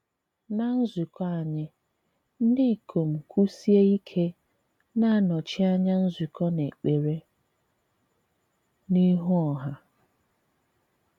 Ná nzùkọ̀ anyị, ndị ikom kwụ̀sie ike na-anọchi anya nzùkọ n’èkpere n’ihu ọha.